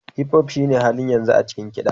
Hipop shine halin yanzu a cikin kiɗa.